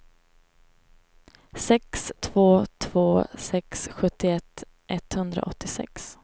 sex två två sex sjuttioett etthundraåttiosex